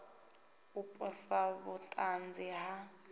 u posa vhut anzi ha